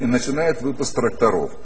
и начинает выпуск тракторов